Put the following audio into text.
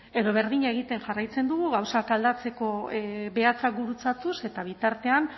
edo berdina egiten jarraitzen dugu gauzak aldatzeko behatzak gurutzatuz eta bitartean